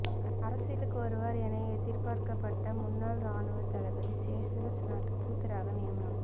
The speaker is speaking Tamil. அரசியலுக்கு வருவார் என எதிர்பார்க்கப்பட்ட முன்னாள் ராணுவ தளபதி ஷெசல்ஸ் நாட்டு தூதராக நியமனம்